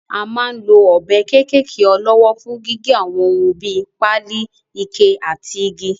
A máa ń lo ọ̀bẹ kéékèké ọlọ́wọ́ fún gígé àwọn ohun bíi; páálí, ike àti igi.